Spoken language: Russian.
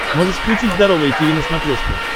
можешь включить здоровое тиви на смотрешке